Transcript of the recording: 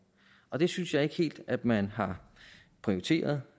og det synes jeg ikke helt at man har prioriteret